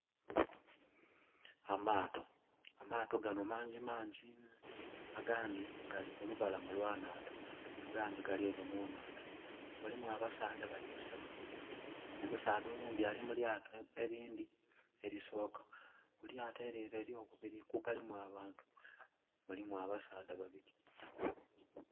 Amaato. Amaato gano mangimangi. Agandhi gali ku lubalama lwa nhandha. Agandhi gali ere mu nhandha. Mulimu abasaadha bali basatu. Omusaadha oghundhi ali mu lyato elindhi elisooka. Ku lyato ely'ere ely'okubiri kugalimu abantu mulimu abasaadha babiri.